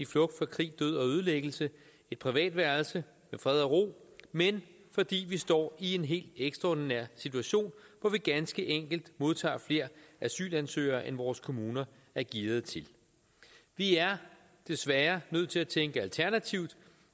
flugt fra krig død og ødelæggelse et privat værelse med fred og ro men fordi vi står i en helt ekstraordinær situation hvor vi ganske enkelt modtager flere asylansøgere end vores kommuner er gearede til vi er desværre nødt til at tænke alternativt